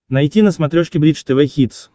найти на смотрешке бридж тв хитс